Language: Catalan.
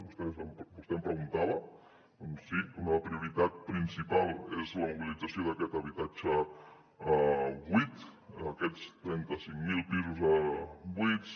vostè em preguntava doncs sí una prioritat principal és la mobilització d’aquest habitatge buit aquests trenta cinc mil pisos buits